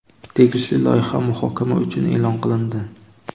tegishli loyiha muhokama uchun e’lon qilindi.